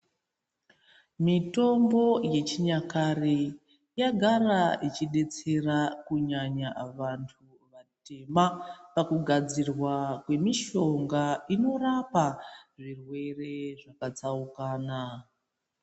Mitombo yechinyakare yagara ichidetsera kunyanya vantu vatema pakugadzirwa kwemishonga inorapa zvirwere zvakatsaukana.